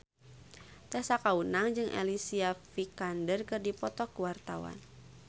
Tessa Kaunang jeung Alicia Vikander keur dipoto ku wartawan